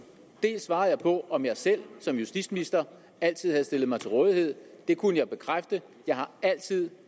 dels svarede jeg på om jeg selv som justitsminister altid havde stillet mig til rådighed det kunne jeg bekræfte jeg er altid